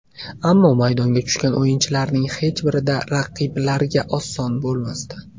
Ammo maydonga tushgan o‘yinlarining hech birida raqiblarga oson bo‘lmasdi.